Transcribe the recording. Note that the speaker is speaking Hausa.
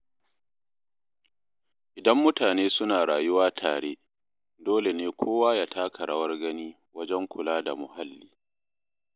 Idan mutane suna rayuwa tare, dole ne kowa ya taka rawar gani wajen kula da muhalli.